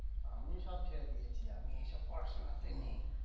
আমি সব ছেড়ে দিয়েছি, আমি এসব পড়াশোনাতে নেই।